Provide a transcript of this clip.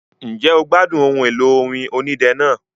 Ǹjẹ́ o gbádùn ohun èlò orin onídẹ náà?